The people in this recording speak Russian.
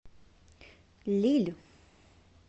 лилль